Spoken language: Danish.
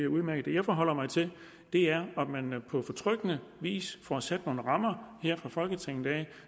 udmærket det jeg forholder mig til er om man på betryggende vis får sat nogle rammer her fra folketingets